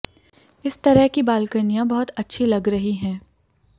इस तरह की बालकनियों बहुत अच्छी लग रही है